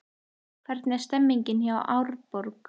Hvernig er stemningin hjá Árborg?